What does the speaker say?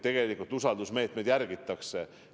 Tegelikult usaldusmeetmeid järgitakse.